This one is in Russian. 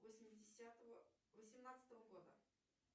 восьмидесятого восемнадцатого года